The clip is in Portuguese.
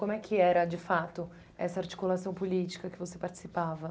Como é que era, de fato, essa articulação política que você participava?